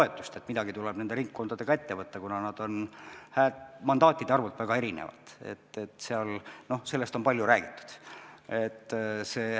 Sellest, et midagi tuleb nende ringkondadega ette võtta, kuna nad on mandaatide arvult väga erinevad, on palju räägitud.